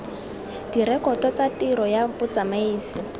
direkoto tsa tiro ya motsamaisi